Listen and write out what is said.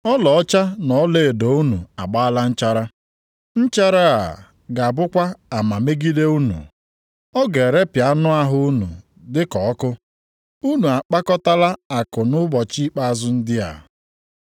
Ọlaọcha na ọlaedo unu agbaala nchara. Nchara + 5:3 Maọbụ, ajarị a ga-abụkwa ama megide unu, ọ ga-erepịa anụ ahụ unu dịka ọkụ. Unu akpakọtala akụ nʼụbọchị ikpeazụ ndị a.